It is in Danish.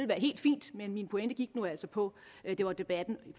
være helt fint men min pointe gik nu altså på at det var debatten i